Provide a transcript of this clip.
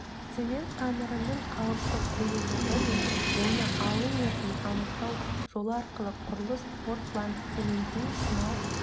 цемент қамырының қалыпты қоюлығы мен оны алу мерзімін анықтау жолы арқылы құрылыс портландцементін сынау